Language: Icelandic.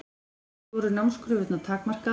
Í fyrstu voru námskröfurnar takmarkaðar.